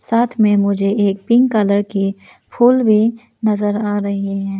साथ में मुझे एक पिंक कलर की फूल भी नजर आ रहे हैं।